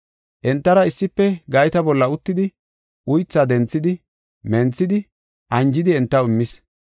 Entara issife gayta bolla uttidi, uythaa denthidi, menthidi, anjidi entaw immis.